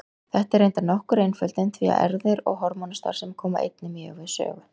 Þetta er reyndar nokkur einföldun því að erfðir og hormónastarfsemi koma einnig mjög við sögu.